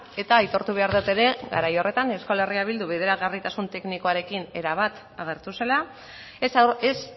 eta aitortu behar dut ere garai horretan euskal herria bildu bideragarritasun teknikoarekin erabat agertu zela ez